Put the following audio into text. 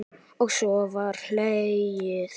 Og svo var hlegið.